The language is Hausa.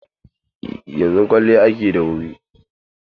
Yanzu kwalliya ake yi da wuri.